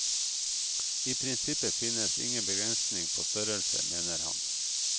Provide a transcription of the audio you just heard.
I prinsippet finnes ingen begrensning på størrelse, mener han.